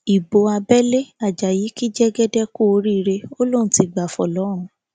ibo abẹlé ajayi kí jẹgẹdẹ kú oríire ó lóun ti gbá fọlọrun